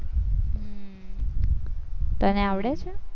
તને આવડે છે?